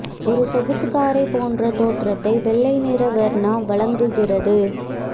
ஒரு சொகுசு காரை போன்ற தோற்றத்தை வெள்ளை நிற வெர்னா வழங்குகிறது